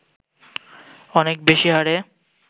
অনেক বেশি হারে